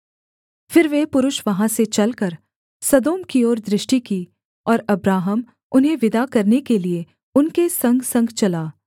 फिर वे पुरुष वहाँ से चलकर सदोम की ओर दृष्टि की और अब्राहम उन्हें विदा करने के लिये उनके संगसंग चला